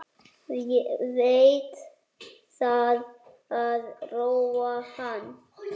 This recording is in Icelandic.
Veit að það róar hann.